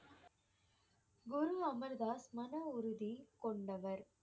குரு அமர் தாஸ் மன உறுதி கொண்டவர்.